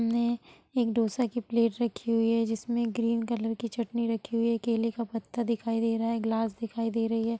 ने एक ढोसा की प्लेट रखी हुई है जिसमें ग्रीन कलर की चटनी रखी हुई है| केले का पत्ता दिखाई दे रहा है| ग्लास दिखाई दे रही है।